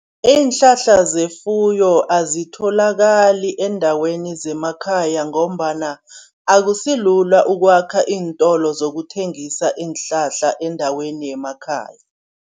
Iinhlahla zefuyo azisatholakali eendaweni zemakhaya ngombana akusilula ukwakha iintolo zokuthengisa iinhlahla eendaweni yemakhaya.